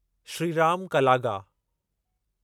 Shriram Kalaga